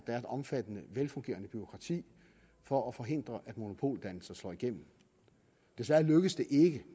er et omfattende velfungerende bureaukrati for at forhindre at monopoldannelser slår igennem desværre lykkedes det ikke